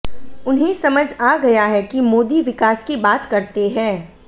उन्हें समझ आ गया है कि मोदी विकास की बात करते हैं